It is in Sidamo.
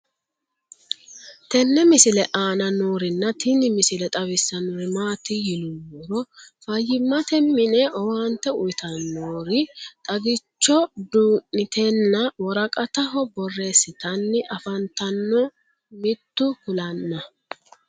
tenne misile aana noorina tini misile xawissannori maati yinummoro fayiimmatte minne owaannte uyiittannori xaggichcho duu'nittenna woraqattaho borreessitanni affanttanno mittu kulanna